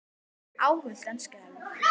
Óhult en skelfd.